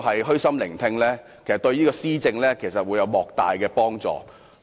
虛心聆聽市民意見，對施政會有莫大幫助。